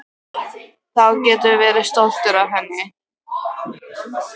Þú getur verið stoltur af henni.